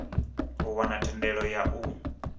u wana thendelo ya u